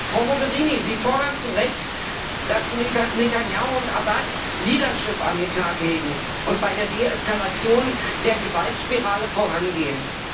Frau Mogherini, Sie fordern zu Recht, dass Netanjahu und Abbas Leadership an den Tag legen und bei der Deeskalation der Gewaltspirale vorangehen.